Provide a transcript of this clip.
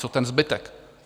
Co ten zbytek?